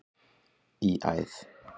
í æð.